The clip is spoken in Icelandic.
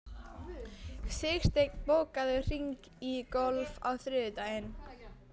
Sigsteinn, bókaðu hring í golf á þriðjudaginn.